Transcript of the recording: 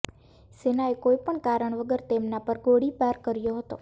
સેનાએ કોઈ પણ કારણ વગર તેમના પર ગોળીબાર કર્યો હતો